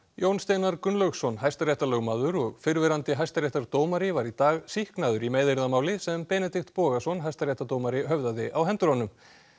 Jón Steinar Gunnlaugsson hæstaréttarlögmaður og fyrrverandi hæstaréttardómari var í dag sýknaður í meiðyrðamáli sem Benedikt Bogason hæstaréttardómari höfðaði á hendur honum